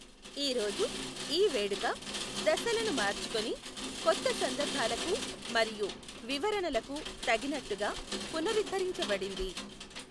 ఈ రోజు, ఈ వేడుక దశలను మార్చుకుని కొత్త సందర్భాలకు మరియు వివరణలకు తగినట్టుగా పునరుద్దరించబడింది.